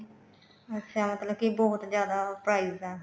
ਅੱਛਾ ਮਤਲਬ ਕੇ ਬਹੁਤ ਜਿਆਦਾ price ਐ